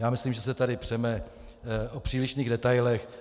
Já myslím, že se tady přeme o přílišných detailech.